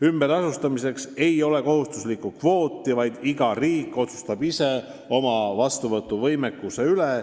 Ümberasustamiseks ei ole kohustuslikku kvooti, iga riik otsustab ise oma vastuvõtuvõimekuse üle.